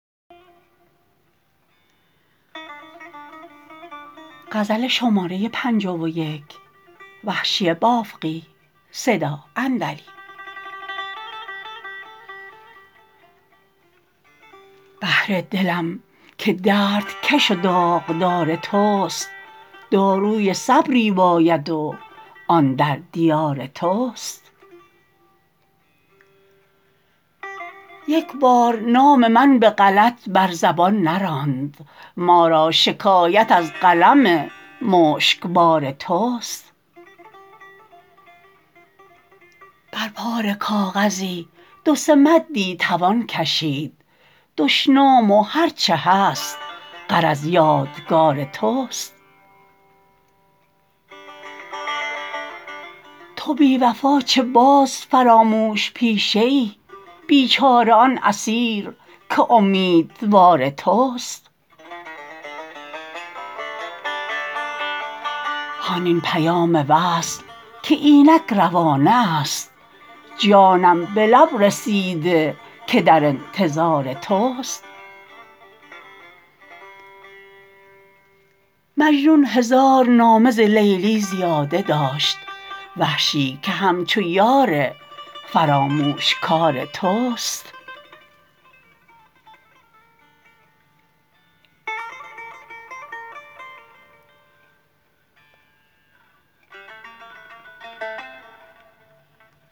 بهر دلم که درد کش و داغدار تست داروی صبر باید و آن در دیار تست یک بار نام من به غلط بر زبان نراند ما را شکایت از قلم مشکبار تست بر پاره کاغذی دو سه مدی توان کشید دشنام و هر چه هست غرض یادگار تست تو بی وفا چه باز فراموش پیشه ای بیچاره آن اسیر که امیدوار تست هان این پیام وصل که اینک روانه است جانم به لب رسیده که در انتظار تست مجنون هزار نامه ز لیلی زیاده داشت وحشی که همچو یار فراموشکار تست